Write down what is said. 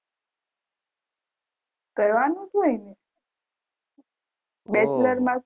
કરવાનું જ હોય ને bachelor માં જ